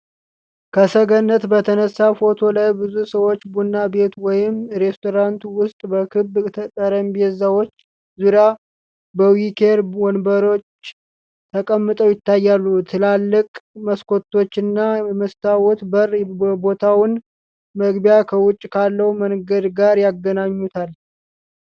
ከሰገነት በተነሳ ፎቶ ላይ ብዙ ሰዎች ቡና ቤት ወይም ሬስቶራንት ውስጥ በክብ ጠረጴዛዎች ዙሪያ በዊኬር ወንበሮች ተቀምጠው ይታያሉ። ትላልቅ መስኮቶችና የመስታወት በር የቦታውን መግቢያ ከውጪ ካለው መንገድ ጋር ያገናኙታል።